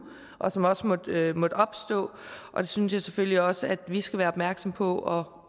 og som også måtte opstå og det synes jeg selvfølgelig også at vi skal være opmærksomme på